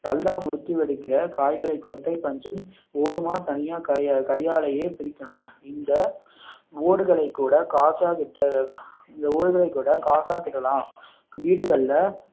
நல்லா முத்தி வெடிக்கிற காய்களை கொட்டை பஞ்சும் ஓடுமா தனியாக கை கையாலேயே பிரிக்கணும் இந்த ஓடுகளை கூட காசாக்கிட~ இந்த ஓடுகளை கூட காசாக்கிடலாம் வீடுகள்ல